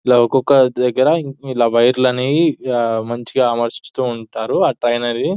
ఇలా ఒక్కొక్క దగ్గర ఇలా వైర్లు అనేవి మంచిగా అమర్చిస్తూ ఉంటారు --